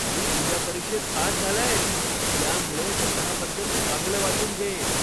तू तुझ्या परीक्षेत पास झालायस, त्यामुळे स्वतःबद्दल चांगलं वाटून घे.